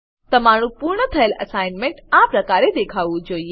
તમારું પૂર્ણ થયેલ એસાઈનમેંટ આ પ્રકારે દેખાવું જોઈએ